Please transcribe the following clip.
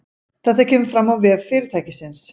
Þetta kemur fram á vef fyrirtækisins